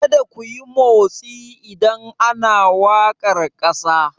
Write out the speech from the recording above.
Kar kuyi motsi idan ana wakar kasa!